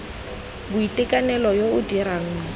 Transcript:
boitekanelo yo o dirang mo